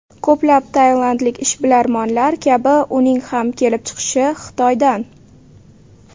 Ko‘plab tailandlik ishbilarmonlar kabi uning ham kelib chiqishi Xitoydan.